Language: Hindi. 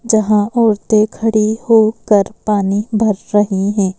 जहाँ औरतें खड़ी होकर पानी भर रही हैं।